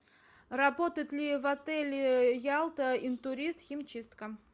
работает ли в отеле ялта интурист химчистка